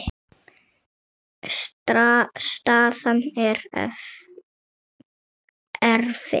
Staðan er erfið.